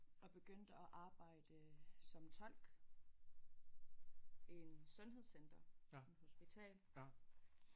Og begyndte at arbejde som tolk i en sundhedscenter en hospital